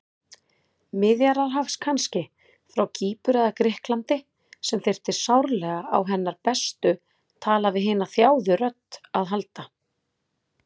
Miðjarðarhafs kannski, frá Kýpur eða Grikklandi, sem þyrfti sárlega á hennar bestu tala-við-hina-þjáðu-rödd að halda.